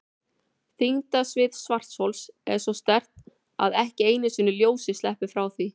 Þyngdarsvið svarthols er svo sterkt að ekki einu sinni ljósið sleppur frá því.